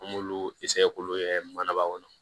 An m'olu k'olu kɛ manaba kɔnɔ